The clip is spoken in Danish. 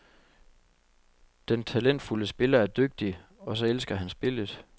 Den talentfulde spiller er dygtig, og så elsker han spillet.